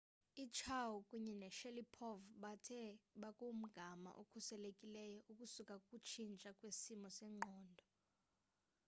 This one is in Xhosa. uchiao kunye noshalipov bathe bakumgama okhuselekileyo ukusuka kukutshintsha kwesimo sengqondo